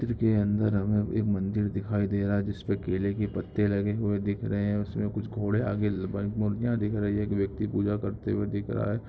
चित्र के अंदर हमें एक मंदिर दिखाई दे रहा है जिसपे केले के पत्ते लगी हुए दिख रहे है उसमे कुछ घोड़े आगे ल-बन-मूर्तियां दिख रही है। एक व्यक्ति पूजा करते हुए दिख रहा है।